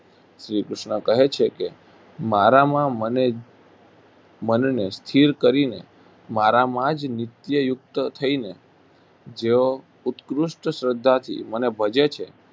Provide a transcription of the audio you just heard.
શ્રીકૃષ્ણ કહે છે કે મારામાં મને મનને સ્થિર કરીને મારામાં જ નિત્ય યુક્ત થઈને જેઓ ઉત્કૃષ્ઠ શ્રદ્ધાથી મને ભજે છે